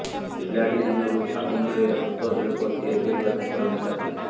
ପିଲାଟି ଦିନରୁ ସାବୁନରେ ହସ୍ତଶିଳ୍ପ ତିଆରି କରିବା ତାଙ୍କର ନିଶା ଥିଲା